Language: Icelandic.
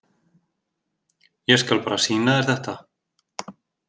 Ég skal bara sýna þér þetta.